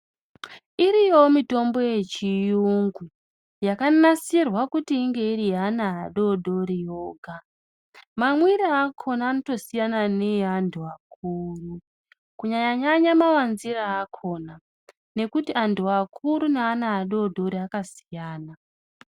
Iriyowo mitombo yechiyungu, yakanasirwa kuti inge iri yeana adodori voga, mamwire akona anotosiyana neantu akuru, kunyanya-nyanya mawanziro akona, nekuti antu akuru neana adodori akasiyana.